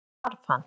Svo hvarf hann.